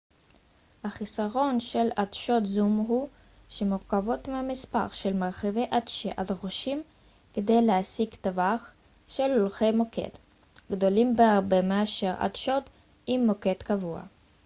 החיסרון של עדשות זום הוא שהמורכבות והמספר של מרכיבי עדשה הדרושים כדי להשיג טווח של אורכי מוקד גדולים בהרבה מאשר עדשות עם מוקד קבוע